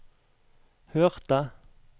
hørte